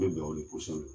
Bɛ bɛn o ma kosɛbɛ